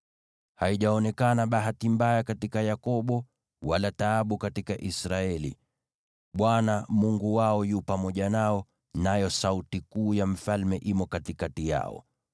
“Haijaonekana bahati mbaya katika Yakobo, wala taabu katika Israeli. Bwana , Mungu wao yu pamoja nao, nayo sauti kuu ya Mfalme imo katikati yao.